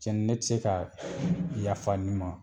Cɛ n ne tɛ se ka yafa nin ma